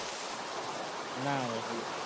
ના હોય